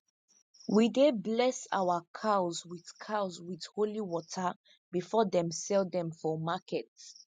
we dey bless our cows with cows with holy water before them sell dem for market